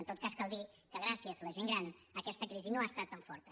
en tot cas cal dir que gràcies a la gent gran aquesta crisi no ha estat tan forta